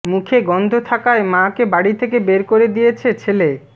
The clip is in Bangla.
মুখে গন্ধ থাকায় মাকে বাড়ি থেকে বের করে দিয়েছে ছেলে